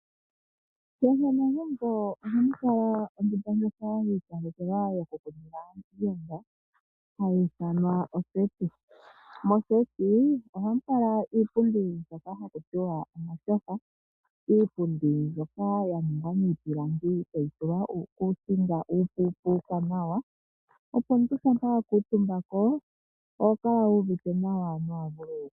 Kehe megumbo ohamu kala ondunda yi ikalekelwa yokukundila aayenda hayi ithanwa oseti. Moseti ohamu kala iipundi mbyoka haku tiwa omashofa, iipundi mbyoka ya ningwa miipilangi tayi tulwa uukusinga tawu monika nawa. Opo omuntu shampa wa kuutumba ko oho kala wu uvite nawa.